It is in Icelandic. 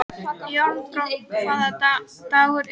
Járnbrá, hvaða dagur er í dag?